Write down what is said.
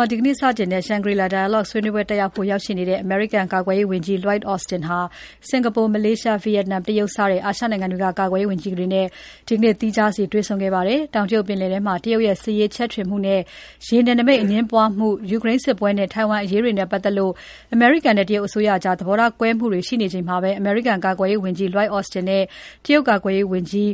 ှာ ဒီကနေ့စတင်တဲ့ Shangri-La Dialogue ဆွေးနွေးပွဲတက်ရောက်ဖို့ ရောက် ရှိနေတဲ့ အမေရိကန်ကာကွယ်ရေးဝန်ကြီး Lloyd Austin ဟာ စင်္ကာပူ၊ မလေးရှား၊ ဗီယက်နမ်၊ တရုတ် စတဲ့အာရှနိုင်ငံတွေက ကာကွယ်ရေးဝန်ကြီးတွေနဲ့ ဒီနေ့သီးခြားစီ တွေ့ဆုံခဲ့ပါတယ်။ တောင်တရုတ်ပင်လယ်ထဲမှာ တရုတ်ရဲ့ စစ်ရေးချဲ့ထွင်မှုနဲ့ ရေနယ်နိမိတ်အငြင်းပွားမှု၊ ယူကရိန်းစစ်ပွဲနဲ့ ထိုင်ဝမ်အရေးတွေနဲ့ပတ်သက်လို့ အမေရိကန်နဲ့ တရုတ်အစိုးရတို့ကြား သဘောထားကွဲမှုတွေရှိနေချိန်မှာ အမေရိကန်ကာကွယ်ရေးဝန်ကြီး Lloyd Austin နဲ့ တရုတ်ကာကွယ်ရေးဝန်ကြီး